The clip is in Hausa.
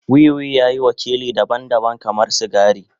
Wiwi ya yi wakili daban-daban kamar sigari.